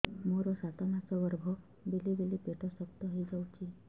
ମୋର ସାତ ମାସ ଗର୍ଭ ବେଳେ ବେଳେ ପେଟ ଶକ୍ତ ହେଇଯାଉଛି